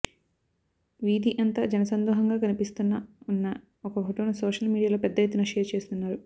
వీధి అంతా జనసందోహంగా కనిపిస్తున్న ఉన్న ఒక ఫొటోను సోషల్ మీడియాలో పెద్దఎత్తున షేర్ చేస్తున్నారు